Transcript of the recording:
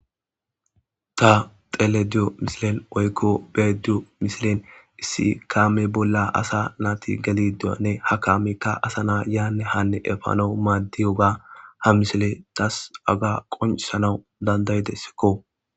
ta tele diyo misilen oykko beediyo misilen issi kaame bolla asa naati galiduanne ha kaamekka asa naa yaanne hanne efano maaddiyoga ha misile taas aga qoncisanau dandaydessikko